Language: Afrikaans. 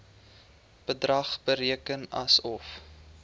bedrag bereken asof